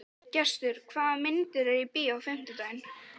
Gestur, hvaða myndir eru í bíó á fimmtudaginn?